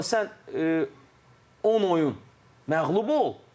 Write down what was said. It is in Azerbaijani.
Amma sən 10 oyun məğlub ol.